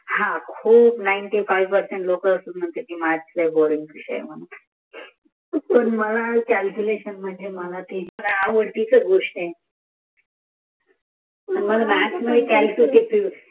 नेणती फौ नायीन तू फेंव